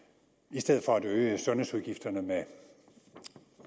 i stedet for at øge sundhedsudgifterne